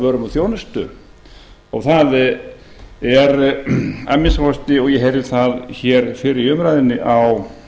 og þjónustu það er að minnsta kosti og ég heyrði það hér fyrr í umræðunni á